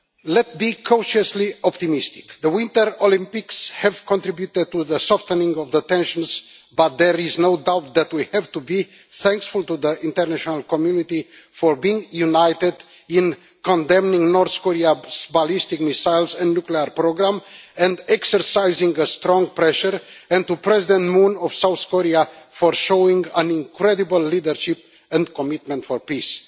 Let's be cautiously optimistic the Winter Olympics have contributed to the softening of tensions, but there is no doubt that we have to be thankful to the international community for being united in condemning North Korea's ballistic missiles and nuclear programme and exercising strong pressure, and to President Moon Jae in of South Korea for showing incredible leadership and commitment to peace.